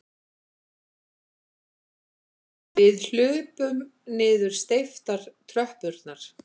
Við hlaupum niður steyptar tröppurnar.